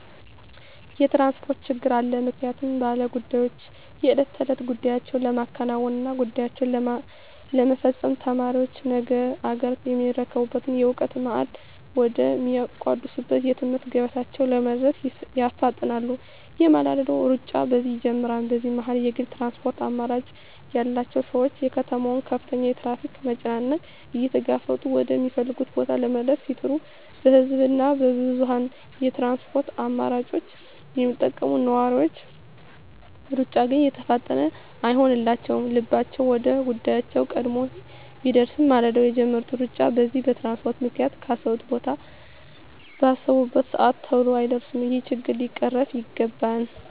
የትራንስፖርት ችግር አለ ምክንያቱም ባለ ጉዳዮች የእለት ተእለት ጉዳያቸዉን ለማከናወን እና ጉዳያቸዉን ለመፈፀም፣ ተማሪዎች ነገ አገርየሚረከቡበትን የእዉቀት ማዕድ ወደ ሚቋደሱበት የትምህርት ገበታቸዉ ለመድረስ ይፋጠናሉ የማለዳዉ ሩጫ በዚህ ይጀምራል በዚህ መሀል የግል ትራንስፖርት አማራጭ ያላቸዉ ሰዎች የከተማዋን ከፍተኛ የትራፊክ መጨናነቅ እየተጋፈጡ ወደ ሚፈልጉት ቦታ ለመድረስ ሲጥሩ በህዝብ እና በብዙኀን የትራንስፖርት አማራጮች የሚጠቀሙ ነዋሪዎች ሩጫ ግን የተፋጠነ አይሆንላቸዉም ልባቸዉ ወደ ጉዳያቸዉ ቀድሞ ቢደርስም ማልደዉ የጀመሩት ሩጫ በዚህ በትራንስፖርት ምክንያት ካሰቡት ቦታ ባሰቡበት ሰአት ተሎ አይደርሱም ይሄ ችግር ሊቀረፍ ይገባል